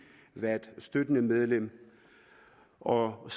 været støttende medlem og